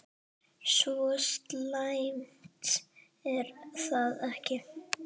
Svo slæmt er það ekki.